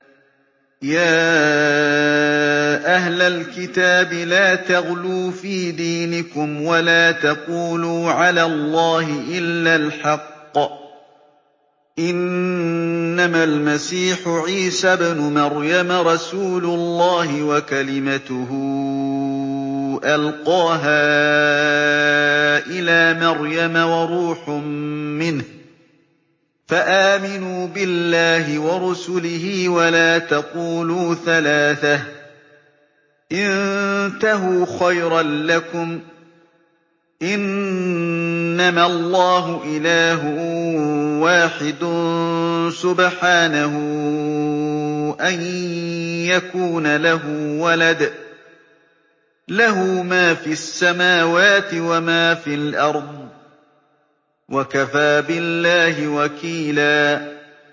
يَا أَهْلَ الْكِتَابِ لَا تَغْلُوا فِي دِينِكُمْ وَلَا تَقُولُوا عَلَى اللَّهِ إِلَّا الْحَقَّ ۚ إِنَّمَا الْمَسِيحُ عِيسَى ابْنُ مَرْيَمَ رَسُولُ اللَّهِ وَكَلِمَتُهُ أَلْقَاهَا إِلَىٰ مَرْيَمَ وَرُوحٌ مِّنْهُ ۖ فَآمِنُوا بِاللَّهِ وَرُسُلِهِ ۖ وَلَا تَقُولُوا ثَلَاثَةٌ ۚ انتَهُوا خَيْرًا لَّكُمْ ۚ إِنَّمَا اللَّهُ إِلَٰهٌ وَاحِدٌ ۖ سُبْحَانَهُ أَن يَكُونَ لَهُ وَلَدٌ ۘ لَّهُ مَا فِي السَّمَاوَاتِ وَمَا فِي الْأَرْضِ ۗ وَكَفَىٰ بِاللَّهِ وَكِيلًا